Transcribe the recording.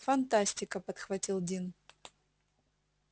фантастика подхватил дин